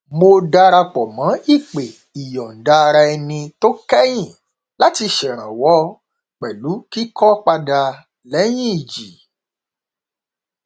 mo darapọ mọ ìpè ìyọndaaraẹni tó kẹyìn láti ṣèrànwọ pẹlú kíkọ padà lẹyìn ìjì